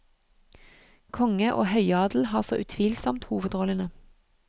Konge og høyadel har så utvilsomt hovedrollene.